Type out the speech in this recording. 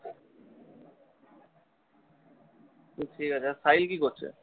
সে ঠিক আছে আর সাহিল কি করছে?